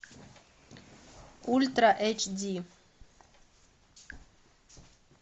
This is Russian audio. ультра эйч ди